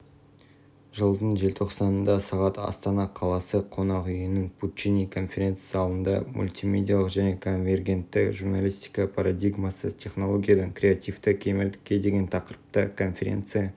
жылдың желтоқсанында сағат астана қаласы қонақүйінің пуччини конференц-залында мультимедиалық және конвергентті журналистика парадигмасы технологиядан креативті кемелдікке деген тақырыпта конференция